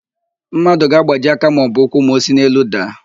Mmadụ ga-agbaji aka maọbụ ụkwụ ma o si n'elu daa.